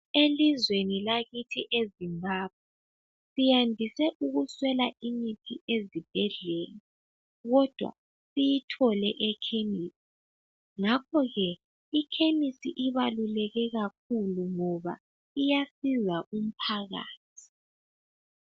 Elizweni lakithi eZimbabwe, siyandise ukuswela imithi ezibhedlela. Kodwa siyithole ekhemisi, ngakho ke ikhemisi ibaluleke kakhulu ngoba iyasiza umphakathi.